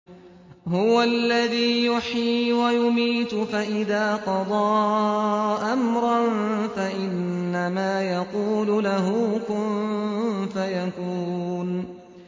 هُوَ الَّذِي يُحْيِي وَيُمِيتُ ۖ فَإِذَا قَضَىٰ أَمْرًا فَإِنَّمَا يَقُولُ لَهُ كُن فَيَكُونُ